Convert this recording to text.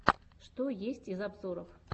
что есть из обзоров